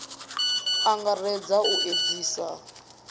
a a angaredza u edzisea